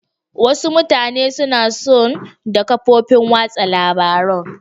Wasu mutane suna son da kafofin watsa labarun.